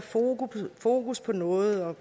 fokus på noget at